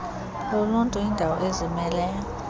loluntu yindawo ezimeleyo